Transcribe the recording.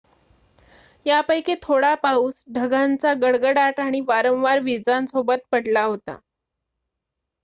यापैकी थोडा पाऊस ढगांचा गडगडाट आणि वारंवार वीजांसोबत पडला होता